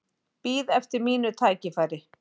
Bíð eftir mínu tækifæri